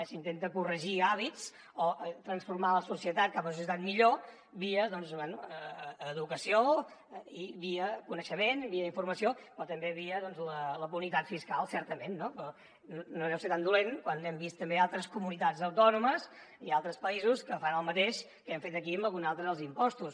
s’intenta corregir hàbits o transformar la societat cap a una societat millor via doncs bé educació i via coneixement via informació però també via la punibilitat fiscal certament no però no deu ser tan dolent quan hem vist també altres comunitats autònomes i altres països que fan el mateix que hem fet aquí amb algun altre dels impostos